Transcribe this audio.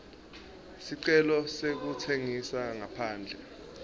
sicelo sekutsengisa ngaphandle